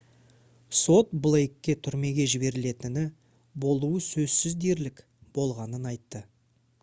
сот блейкке түрмеге жіберілетіні «болуы сөзсіз дерлік» болғанын айтты